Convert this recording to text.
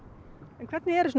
en hvernig eru